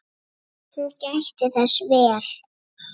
Hún gætti þess vel.